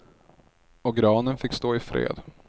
Och granen fick stå i fred.